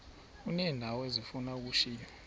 uneendawo ezifuna ukushiywa